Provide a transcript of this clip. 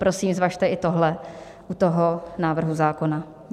Prosím, zvažte i tohle u tohoto návrhu zákona.